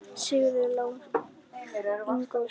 Sigurður Ingólfsson: Af hverju?